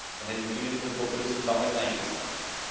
dann hätten viele dieser Populisten damals nein gesagt.